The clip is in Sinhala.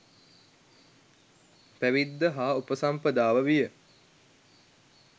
පැවිද්ද හා උපසම්පදාව විය.